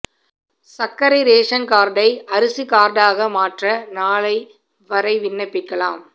சா்க்கரை ration காா்டை அரிசி காா்டாக மாற்ற நாளை வரை விண்ணப்பிக்காலம்